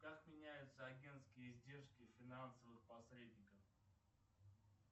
как меняются агентские издержки финансовых посредников